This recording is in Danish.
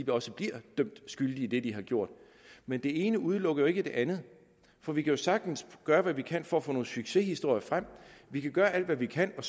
også bliver dømt skyldige i det de har gjort men det ene udelukker jo ikke det andet for vi kan sagtens gøre hvad vi kan for at få nogle nye succeshistorier frem vi kan gøre alt hvad vi kan og